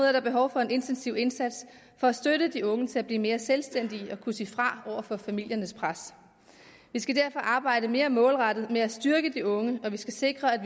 er der behov for en intensiv indsats for at støtte de unge til at blive mere selvstændige og kunne sige fra over for familiernes pres vi skal derfor arbejde mere målrettet med at styrke de unge og vi skal sikre at